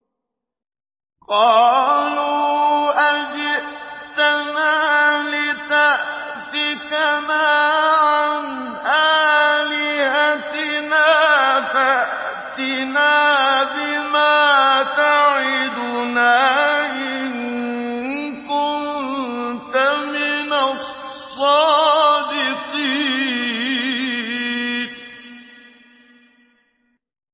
قَالُوا أَجِئْتَنَا لِتَأْفِكَنَا عَنْ آلِهَتِنَا فَأْتِنَا بِمَا تَعِدُنَا إِن كُنتَ مِنَ الصَّادِقِينَ